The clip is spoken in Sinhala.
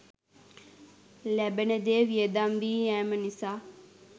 ලැබෙන දෙය වියදම් වී යෑම නිසා